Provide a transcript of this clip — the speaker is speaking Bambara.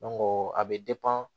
a bɛ